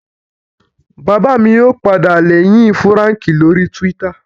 Bàbá mi yóò padà lẹ́yìn Fúràǹkì lórii túwítà